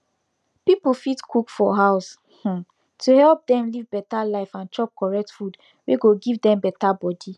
pipu fit cook for house um to help dem live better life and chop correct food wey go give dem better body